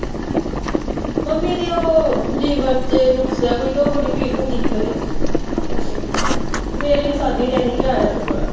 mummy ਦੇ ਉਹ liver ਚ ਨੁਕਸ ਐ ਕੋਈ ਤੇ ਉਹ ਬੜੀ ਪੀੜ ਹੁੰਦੀ ਸੀ ਉਹਦੇ ਤੇ ਫੇਰ ਅਸੀਂ ਸੱਦ ਈ ਲਏ ਸੀ ਅਸੀਂ ਕਿਹਾਂ ਆਜਾਂ ਤੂੰ ਪਰਾ